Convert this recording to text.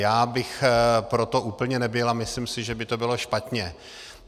Já bych pro to úplně nebyl a myslím si, že by to bylo špatně.